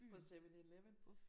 På 7/11